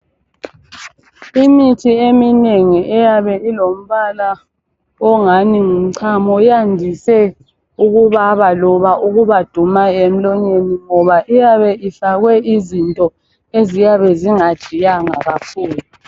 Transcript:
Imithi eminengi eyabe ilombala ongani ngumchamo yandise ukubaba loba ukubaduma omlonyeni ngoba iyabe ifakwe izinto eziyabe zingajiyanga kakhulu